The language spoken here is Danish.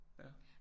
Ja